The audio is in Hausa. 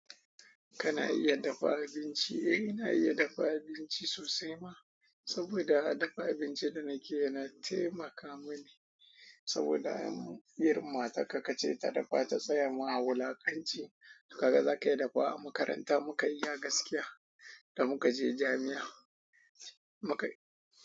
Kana iya dafa abinci? Eh ina iya dafa abinci sosai ma, saboda dafa abinci da nake yana taimaka mini. Saboda irin matarka kace ta dafa ta tsaya ma wulaƙanci kaga zaka iya dafawa a makaranta mu ka iya gaskiya da muka je jami'a muka iya.